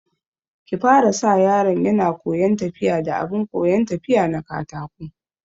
Ki fara sa yaron yana koyan tafiya da abin koyan tafiya na katako